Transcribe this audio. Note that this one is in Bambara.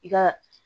I ka